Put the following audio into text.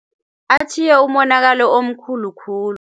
Atjhiye umonakalo omkhulu khulu.